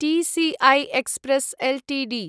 TCI express Ltd